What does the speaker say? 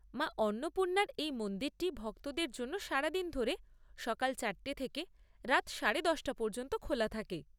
মা অন্নপূর্ণার এই মন্দিরটি ভক্তদের জন্য সারাদিন ধরে সকাল চারটে থেকে রাত সাড়ে দশটা পর্যন্ত খোলা থাকে।